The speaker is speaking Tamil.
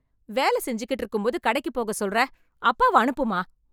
வேலை செஞ்சுகிட்டு இருக்கும்போது, கடைக்கு போகச் சொல்றே... அப்பாவை அனுப்புமா.